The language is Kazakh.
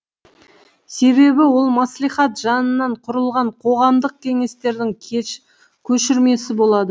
себебі ол мәслихат жанынан құрылған қоғамдық кеңестердің көшірмесі болады